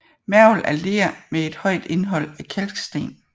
Mergel er ler med et højt indhold af kalksten